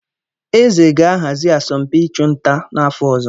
Eze ga-ahazi asọmpi ịchụ nta n’afọ ọzọ.